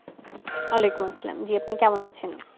ওয়ালাইকুম আসসালাম জি আপনি কেমন আছেন?